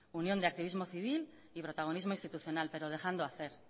unión de activismo civil y protagonismo institucional pero dejando hacer